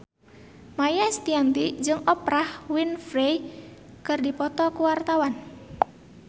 Maia Estianty jeung Oprah Winfrey keur dipoto ku wartawan